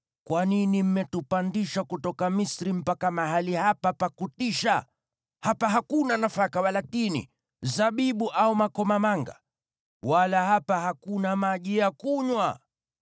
Kwa nini mmetupandisha kutoka Misri mpaka mahali hapa pa kutisha? Hapa hakuna nafaka wala tini, zabibu au makomamanga. Wala hapa hakuna maji ya kunywa!”